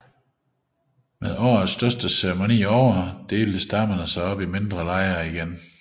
Med årets største ceremoni ovre delte stammen sig op i mindre lejre igen